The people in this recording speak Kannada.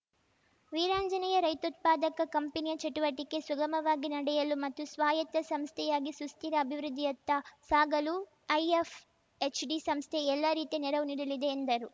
ವೀರಾಂಜನೇಯ ರೈತೋತ್ಪಾದಕ ಕಂಪನಿಯ ಚಟುವಟಿಕೆ ಸುಗಮವಾಗಿ ನಡೆಯಲು ಮತ್ತು ಸ್ವಾಯತ್ತ ಸಂಸ್ಥೆಯಾಗಿ ಸುಸ್ಥಿರ ಅಭಿವೃದ್ಧಿಯತ್ತ ಸಾಗಲು ಐಎಫ್‌ಎಚ್‌ಡಿ ಸಂಸ್ಥೆ ಎಲ್ಲಾ ರೀತಿಯ ನೆರವು ನೀಡಲಿದೆ ಎಂದರು